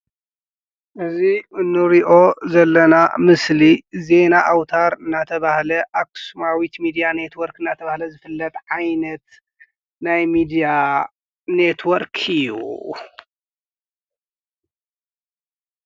እዚ እንሪኦ ዘለና ምሰሊ ዜና አውታር እናተብሃለ አክሱማዊት ሚድያ ኔትዎርክ እናተብሃለ ዝፍለጥ ዓይነት ናይ ሚድያ ኔትዎርክ እዩ፡፡